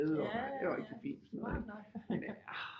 Ja ja smart nok